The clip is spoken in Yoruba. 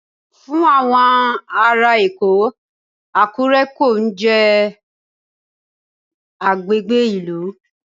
Fún àwọn ará Èkó, Àkúré kò ní jẹ́ agbègbè ìlú.